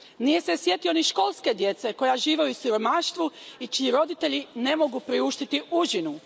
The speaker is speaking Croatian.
Nije se sjetio ni školske djece koja žive u siromaštvu i čiji im roditelji ne mogu priuštiti užinu.